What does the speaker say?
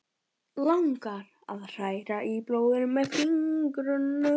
Langar að hræra í blóðinu með fingrunum.